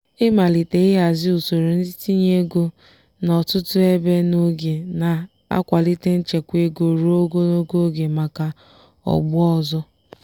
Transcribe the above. ịmalite ịhazi usoro itinye ego n'ọtụtụ ebe n'oge na-akwalite nchekwa ego ruo ogologo oge maka ọgbọ ọzọ.